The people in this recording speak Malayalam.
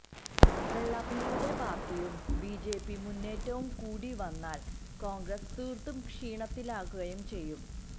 വെള്ളാപ്പള്ളിയുടെ പാർട്ടിയും ബിജെപി മുന്നേറ്റവും കൂടി വന്നാൽ കോൺഗ്രസ് തീർത്തും ക്ഷീണത്തിലാകുകയും ചെയ്യും